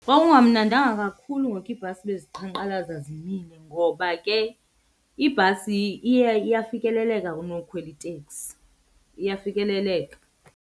Kwakungamnadanga kakhulu ngoku iibhasi beziqhankqalaza zimile ngoba ke ibhasi iya iyafikeleleka kunokhwela iteksi, iyafikeleleka.